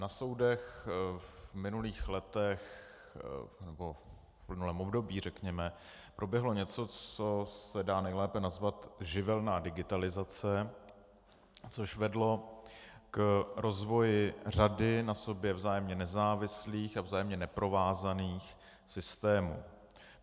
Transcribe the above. Na soudech v minulých letech, nebo v minulém období řekněme, proběhlo něco, co se dá nejlépe nazvat živelná digitalizace, což vedlo k rozvoji řady na sobě vzájemně nezávislých a vzájemně neprovázaných systémů.